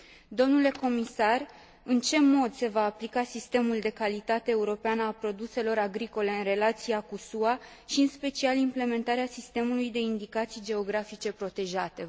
Domnule comisar, în ce mod se va aplica sistemul de calitate europeană a produselor agricole în relația cu SUA și, în special, cum se va implementa sistemul de indicații geografice protejate?